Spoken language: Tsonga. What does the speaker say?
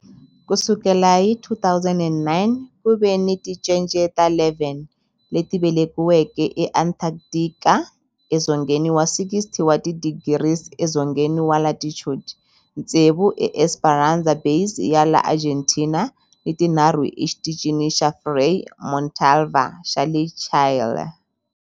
Ku sukela hi 2009, ku ve ni tincece ta 11 leti velekiweke eAntarctica, edzongeni wa 60 wa tidigri edzongeni wa latitude, tsevu eEsperanza Base ya le Argentina ni tinharhu eXitichini xa Frei Montalva xa le Chile.